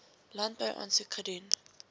landbou aansoek gedoen